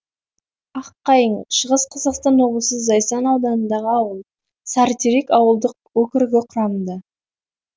аққайың шығыс қазақстан облысы зайсан ауданындағы ауыл сарытерек ауылдық округі құрамында